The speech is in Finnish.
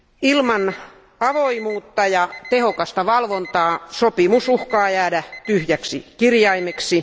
Ilman avoimuutta ja tehokasta valvontaa sopimus uhkaa jäädä tyhjäksi kirjaimeksi.